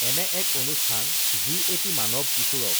এনে এক অনুষ্ঠান যি এটি মান‌ৱ কিশোৰক